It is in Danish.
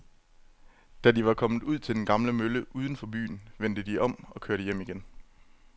Da de var kommet ud til den gamle mølle uden for byen, vendte de om og kørte hjem igen.